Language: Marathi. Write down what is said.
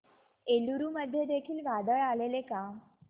एलुरू मध्ये देखील वादळ आलेले का